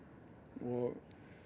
og